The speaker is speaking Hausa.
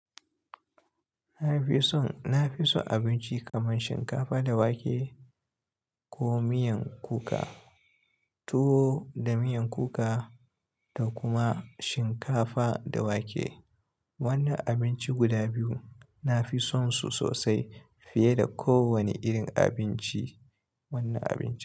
Na fi son, na fi son abinci kamar shinkafa da wake ko miyan kuka, tuwo da miyan kuka da kuma shinkafa da wake. Wannan abinci guda biyu nafi son su sosai fiye da kowane irin abinci, wanne abinci.